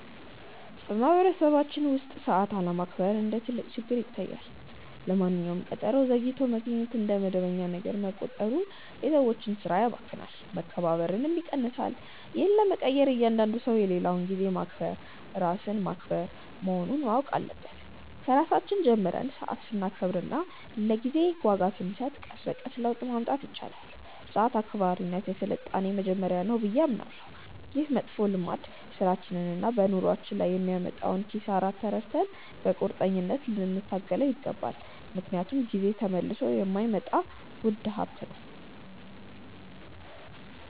በማኅበረሰባችን ውስጥ ሰዓት አለማክበር እንደ ትልቅ ችግር ይታየኛል። ለማንኛውም ቀጠሮ ዘግይቶ መገኘት እንደ መደበኛ ነገር መቆጠሩ የሰዎችን ሥራ ያባክናል፣ መከባበርንም ይቀንሳል። ይህን ለመቀየር እያንዳንዱ ሰው የሌላውን ጊዜ ማክበር ራስን ማክበር መሆኑን ማወቅ አለበት። ከራሳችን ጀምረን ሰዓት ስናከብርና ለጊዜ ዋጋ ስንሰጥ ቀስ በቀስ ለውጥ ማምጣት ይቻላል። ሰዓት አክባሪነት የሥልጣኔ መጀመሪያ ነው ብዬ አምናለሁ። ይህ መጥፎ ልማድ በሥራችንና በኑሯችን ላይ የሚያመጣውን ኪሳራ ተረድተን በቁርጠኝነት ልንታገለው ይገባል፤ ምክንያቱም ጊዜ ተመልሶ የማይመጣ ውድ ሀብት ነው።